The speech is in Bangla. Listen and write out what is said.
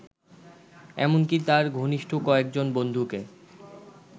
এমনকি তার ঘনিষ্ঠ কয়েকজন বন্ধুকে